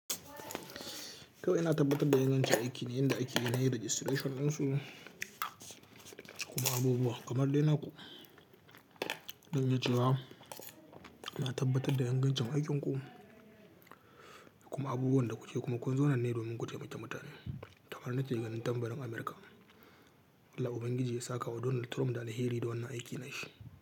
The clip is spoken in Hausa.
Kawai yana tabbatar da ingancin aikin ne, inda aikin yana yi registration ɗinsu kuma abubuwa kamar daina dangantacewa. Na tabbatar da dangancen aikinku kuma abubuwan da kuke kuma kun zo nan ne domin ku ce mutane kamar na in tambarin Amurka. Allah Ubangiji ya saka wa Donald Trump dane hiiri don wannan aikin na shi.